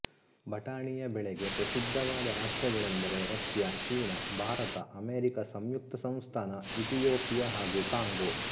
ಬಟಾಣಿಯ ಬೆಳೆಗೆ ಪ್ರಸಿದ್ಧವಾದ ರಾಷ್ಟ್ರಗಳೆಂದರೆ ರಷ್ಯ ಚೀನ ಭಾರತ ಅಮೆರಿಕ ಸಂಯುಕ್ತ ಸಂಸ್ಥಾನ ಇಥಿಯೋಪಿಯ ಹಾಗೂ ಕಾಂಗೊ